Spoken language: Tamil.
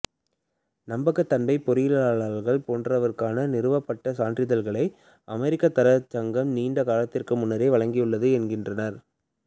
நம்பகத்தன்மை பொறியியலாளர்கள் போன்றோருக்கான நிறுவப்பட்ட சான்றிதழ்களை அமெரிக்க தரச் சங்கம் நீண்ட காலத்திற்கு முன்னரே வழங்கியுள்ளது என்கிறார்